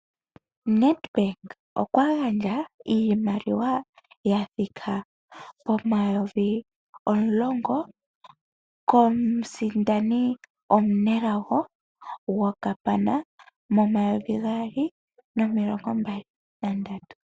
Nedbank okwa gandja iimaliwa yathika pomayovi omulongo komusindani omunelago gwokapana, momayovi gaali nomilongo mbali nandatu.